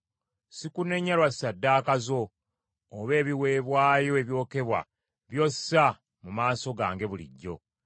Sikunenya lwa ssaddaaka zo, oba ebiweebwayo ebyokebwa by’ossa mu maaso gange bulijjo.